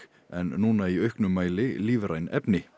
en núna í auknum mæli lífræn efni